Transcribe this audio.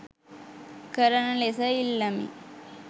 කරන ලෙස ඉල්ලමි.